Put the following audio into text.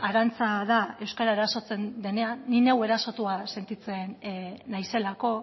arantza da euskara erasotzen denean ni neu erasotua sentitzen naizelako